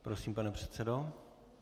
Prosím, pane předsedo.